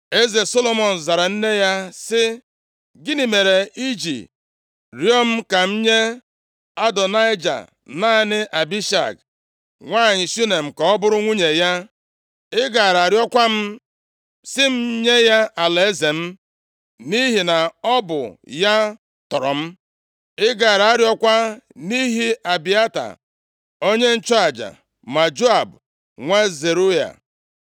Eze Solomọn zara nne ya sị, “Gịnị mere i ji rịọọ m ka m nye Adonaịja naanị Abishag nwanyị Shunem ka ọ bụrụ nwunye ya? Ị gaara arịọkwa m sị m nye ya alaeze m. Nʼihi na ọ bụ ya tọrọ m” Ị gaara arịọkwa nʼihi Abịata onye nchụaja ma Joab nwa Zeruaya.